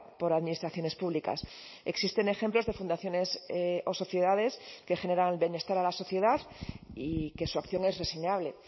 por administraciones públicas existen ejemplos de fundaciones o sociedades que generan bienestar a la sociedad y que su acción es reseñable